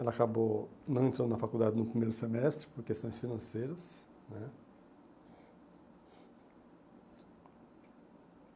Ela acabou não entrando na faculdade no primeiro semestre por questões financeiras né.